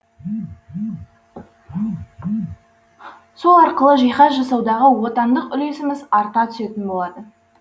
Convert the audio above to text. сол арқылы жиһаз жасаудағы отандық үлесіміз арта түсетін болады